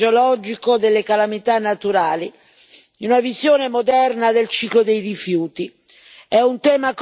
del dissesto idrogeologico, delle calamità naturali, in una visione moderna del ciclo dei rifiuti.